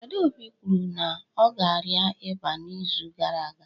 Adaobi kwuru na ọ na-arịa ịba n'izu gara aga